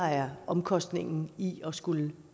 er omkostningen i at skulle